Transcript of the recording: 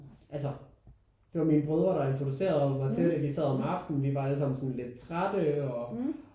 Altså det var mine brødre der introducerede mig til det. Vi sad om aftenen og vi var alle sammen sådan lidt trætte og